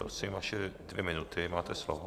Prosím, vaše dvě minuty, máte slovo.